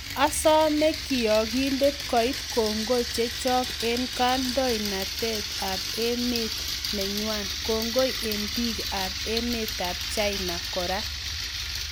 "Asome kiyaakiindet koiit kongoi chechok en kandoindet ab emet neng'wang' , kongoi en biik ab emetab China koraa"